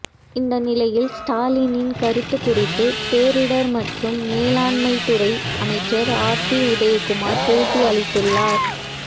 இந்த நிலையில் ஸ்டாலினின் கருத்து குறித்து பேரிடர் மற்றும் மேலாண்மை துறை அமைச்சர் ஆர்பி உதயகுமார் பேட்டி அளித்துள்ளார்